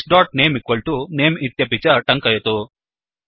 this name name इत्यपि च टङ्कयतु